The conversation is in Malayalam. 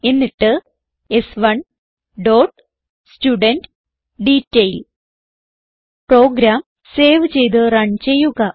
എന്നിട്ട് s one dot student detail program save ചെയ്ത് റൺ ചെയ്യുക